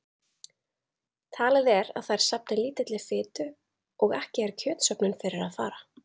Talið er að þær safni lítilli fitu og ekki er kjötsöfnun fyrir að fara.